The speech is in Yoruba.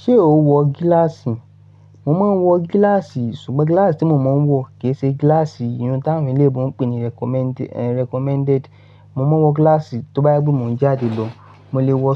Ṣé o wọ gíláàsì? Mo mon wọ gíláàsì ṣùgbọ́n gíláàsì tí mo máa ń wọ kì í ṣe gíláàsì iyun t'àwọn eleébo ń pè ní recommended. Mo máa wọ gíláàsì t'ọbá je pe mo n jáde lọ, mo lè wọ